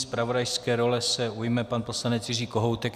Zpravodajské role se ujme pan poslanec Jiří Kohoutek.